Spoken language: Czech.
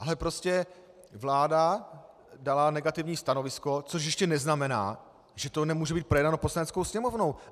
Ale prostě vláda dala negativní stanovisko, což ještě neznamená, že to nemůže být projednáno Poslaneckou sněmovnou.